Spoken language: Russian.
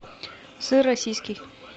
сыр российский